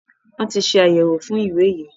Wọn ti ṣe àyẹwò fún ìwé yí.